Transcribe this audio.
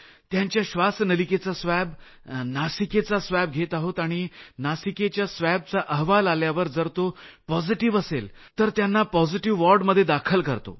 त्यांच्या श्वासनलिकेचा स्वॅब नासिकेचा स्वॅब घेत आहोत आणि नासिकेच्या स्वॅबचा अहवाल आल्यावर जर तो पॉझिटिव्ह असेल तर त्यांना पॉझिटिव्ह वॉर्डमध्ये दाखल करतो